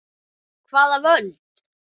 Hvaða völd?